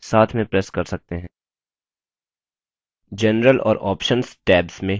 general और options tabs में settings जानने के लिए